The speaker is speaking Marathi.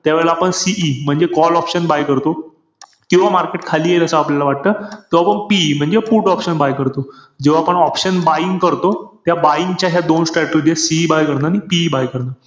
त्यावेळेला आपण CE म्हणजे call option buy करतो. किंवा market खाली येईल असं आपल्याला वाटत, त आपण PE म्हणजे put option buy करतो. जेव्हा आपण option buying करतो. त्या buying च्या ह्या दोन strategy ए. CE buy करणं, आणि PE buy करणं.